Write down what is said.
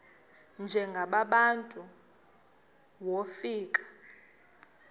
njengaba bantu wofika